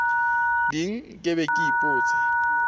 ding ke be ke ipotse